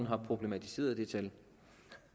har problematiseret det tal